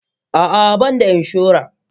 Ah ah banda inshora.